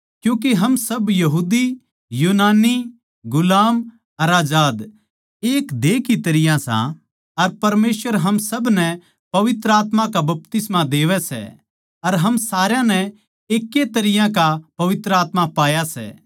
क्यूँके हम सब यहूदी यूनानी गुलाम अर आजाद एक देह की तरियां सां अर परमेसवर हम सब नै पवित्र आत्मा का बपतिस्मा देवै सै अर हम सारया नै एकै तरियां का पवित्र आत्मा पाया सै